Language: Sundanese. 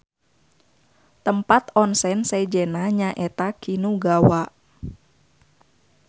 Tempat onsen sejenna nyaeta Kinugawa.